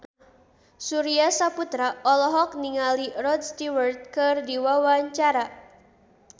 Surya Saputra olohok ningali Rod Stewart keur diwawancara